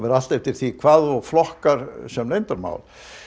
allt eftir því hvað þú flokkar sem leyndarmál